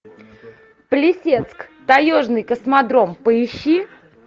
плесецк таежный космодром поищи